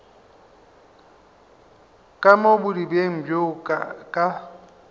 ka mo bodibeng bjo ka